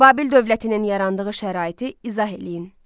Babil dövlətinin yarandığı şəraiti izah eləyin.